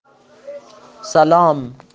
салам